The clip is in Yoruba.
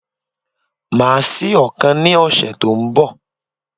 Màá sí ọ̀kan ní òsè tó n bọ̀